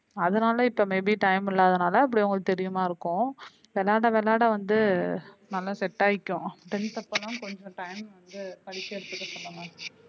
அதுனால இப்ப maybe time இல்லாதனால அப்படி உங்களுக்கு தெரியுமா இருக்கும் விளையாட விளையாட வந்து நல்லா set ஆய்க்கும் tenth அப்பலா கொஞ்சம் time வந்து படிக்கிறதுக்கு சொல்லணும்.